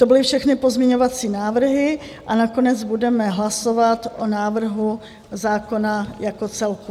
To byly všechny pozměňovací návrhy a nakonec budeme hlasovat o návrhu zákona jako celku.